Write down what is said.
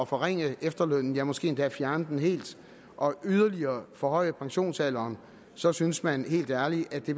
forringe efterlønnen ja måske endda fjerne den helt og yderligere forhøje pensionsalderen så synes man helt ærligt at det